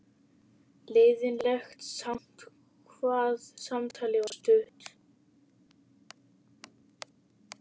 Leiðinlegt samt hvað samtalið var stutt.